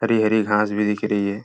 हरी हरी घांस भी दिख रही है।